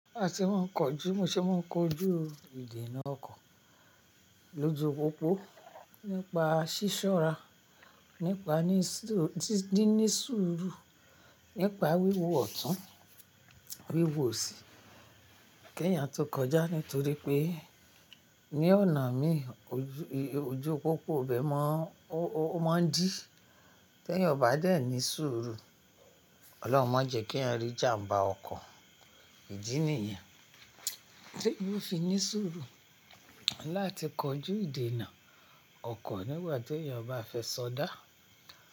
Bí a tí wọ́n ń kojú, mò ṣe wọ́n ń kojú ìdènà ọkọ̀ lójó pópó nípa sísòra, nípa níni sùúrù, nípa wíwo ọ̀tún, wíwo ọ̀sí, kìéyàn tó kọjá. Nítorí pé ní ọ̀nà mìí, òjó pópó ò bẹ́ mọ́, ó máa ń dí. Te ẹyan ọba bẹ́ẹ̀ ní sùúrù. Ọlọ́run má jẹ́ kí ẹyan rí ìjàm̀bá ọkọ̀. Ìdí nìyẹn tí mo fi ní sùúrù láti kojú ìdènà ọkọ̀ nígbà tí èèyàn ba fẹ́ sọdá.